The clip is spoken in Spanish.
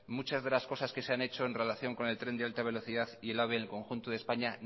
muchas de las cosas que se han hecho en relación con el tren de alta velocidad y el ave en el conjunto de españa